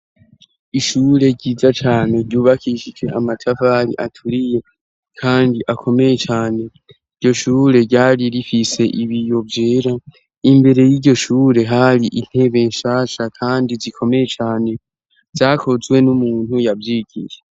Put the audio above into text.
Ishure ryiza cane ryubakishije amatavari aturiye, kandi akomeye cane iryo shure ryari rifise ibi yo vyera imbere y'iryo shure hari intebe nshasha, kandi zikomeye cane zyakozwe n'umuntu yavyigije.